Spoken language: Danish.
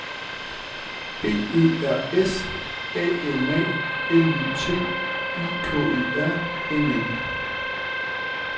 B Ø R S A N A L Y T I K E R N E